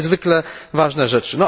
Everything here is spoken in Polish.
To są niezwykle ważne rzeczy.